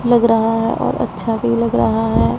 लग रहा है और अच्छा भी लग रहा है।